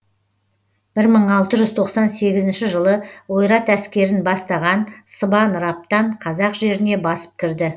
бір мың алты жүз тоқсан сегізінші жылы ойрат әскерін бастаған сыбан раптан қазақ жеріне басып кірді